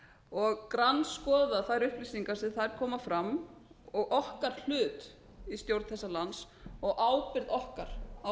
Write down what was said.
og grandskoða þær upplýsingar sem þar koma fram og okkar hlut í stjórn þessa lands og ábyrgð okkar á